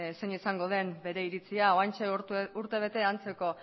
zein izango den bere iritzia oraintxe urtebete antzeko